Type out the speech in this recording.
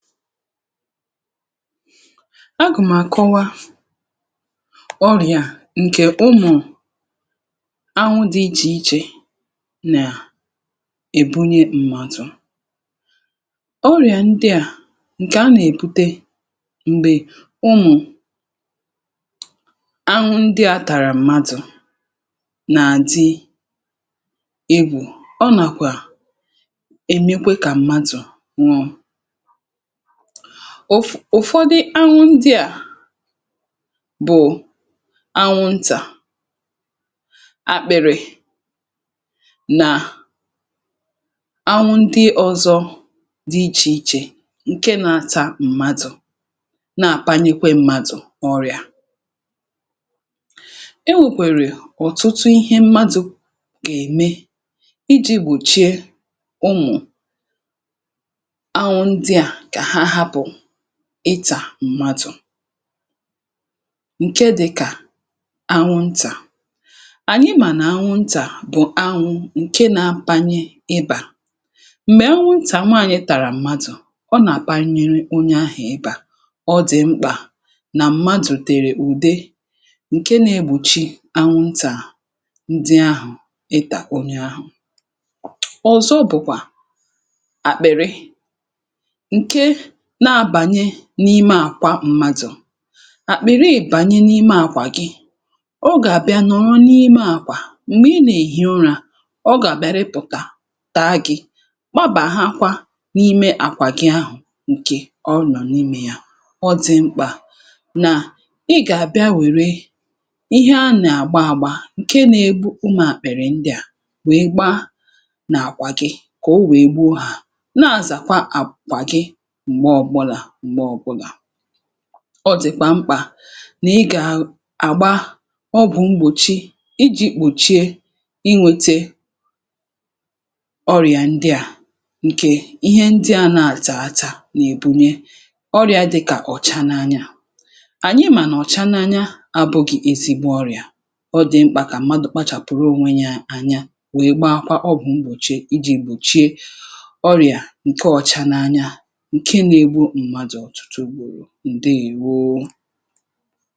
A gụ̀m̀àkọwa ọrị̀à ǹkè ụmụ̀ anwụ dị̇ ichè ichè nà è bunye mmadụ̀. Ọrị̀à ndị à ǹkè a nà-èbute m̀gbè ụmụ̀ anwụ ndị à tàrà m̀madụ̀ nà-àdị egwù, ọ nàkwà èmekwe kà m̀madụ̀ nwụọ. um Ụfọdị anwụ ndị à bụ̀ anwụ ntà akpị̇rị̇ nà anwụ ndị ọzọ dị ichè ichè ǹke na-ata mmadụ̀ na-àkpanikwe mmadụ̀ ọrịà. E nwèkwèrè ọ̀tụtụ ihe mmadụ gà-ème iji̇ gbòchie ụmụ̀ anwụ ndị a ka ha hapụ ità mmadụ̀ nke dị̀kà anwụntà. Ànyị mà nà anwụntà bụ̀ anwụ ǹke na-panye ịbà. Mgbè anwụntà nwanyị̀ tàrà mmadụ̀ ọ nà-gbanyere onye ahụ̀ ịbà ọ dị̀ mkpà nà mmadụ̀ tèrè ùde ǹke na-egbùchi anwụntà ndị ahụ̀ ịtà onye ahụ̀. Ọzọ bụ̀kwà àkpị̀rị na-abànye n’ime àkwà mmadụ̀. Àkpịrị ìbànye n’ime àkwà gị o gà-àbịa nọ̀rọ n’ime àkwà, m̀gbè ị nà-èhì ụra ọ gà-àbịa rịpụ̀tà taa gị̇ gbábàhákwá n’ime àkwà gị ahụ̀ ǹkè ọ nọ̀ n’ime ya. Ọ dị̀ mkpà nà ị gà-àbịa wère ihe a nà-àgba àgba ǹke na-egbu ụmụ̀ àkpịrị̀ ndịà wèe gbaa nà-àkwà gị kà o wèe gbuo hà na-àzàkwa àkwà gị mgbe ọbụlà mgbe ọbụlà. Ọ dị̀kwà mkpà nà ị gà-àgba ọgwụ̀ mgbòchi iji̇ kpòchie ịnwete ọrịà ndịà ǹkè ihe ndịà a na-atà ata n’èbunye; ọrịà dịkà ọ̀cha n’anya. Ànyị mà nà ọ̀cha n’anya abụgị̇ ezigbo ọrịà, ọ dị̀ mkpà kà mmadụ̀ kpachàpụ̀rụ onwe ya anya wèe gbaakwa ọgwụ̀ mgbòchi iji̇ gbòchie ọrịà ǹkè ọ̀cha n’anya nke na-egbu mmadụ ọtụtụ ùgbòrò ǹdeèwo.